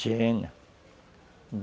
Tinha...